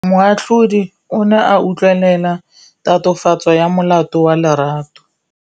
Moatlhodi o ne a utlwelela tatofatsô ya molato wa Lerato.